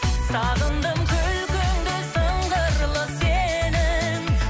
сағындым күлкіңді сыңғырлы сенің